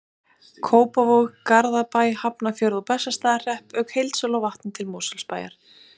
Kópavog, Garðabæ, Hafnarfjörð og Bessastaðahrepp, auk heildsölu á vatni til Mosfellsbæjar.